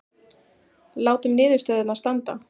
Látum niðurstöðurnar standa